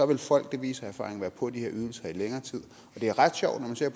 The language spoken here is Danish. vil folk det viser erfaringen være på de her ydelser i længere tid det er ret sjovt når man ser